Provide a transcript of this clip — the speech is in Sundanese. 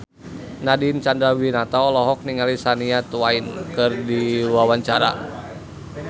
Nadine Chandrawinata olohok ningali Shania Twain keur diwawancara